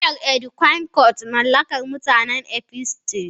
Miyar Edikaikong mallakar mutanen Efiks ce.